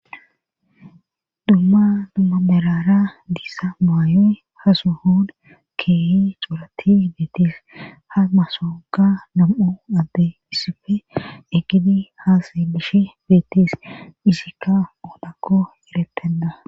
dumma dumma merara diizza muayoy hasuhon keehi cuurati beetis ha masooga nam7u adde issife egidi haasa bishi beetis isikka oolakko eretenda